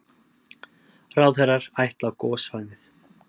Ráðherrar ætla á gossvæðið